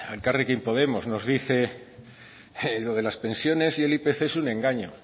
elkarrekin podemos nos dice que lo de las pensiones y el ipc es un engaño